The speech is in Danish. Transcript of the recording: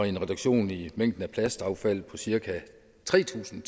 en reduktion i mængden plastaffald på cirka tre tusind